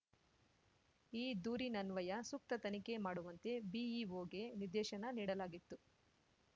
ಈ ದೂರಿನನ್ವಯ ಸೂಕ್ತ ತನಿಖೆ ಮಾಡುವಂತೆ ಬಿಇಒಗೆ ನಿರ್ದೇಶನ ನೀಡಲಾಗಿತ್ತು